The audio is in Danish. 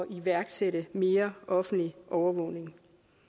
iværksætte mere offentlig overvågning